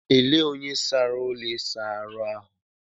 Elee onye sara ụlọ ịsa ahu ahụ?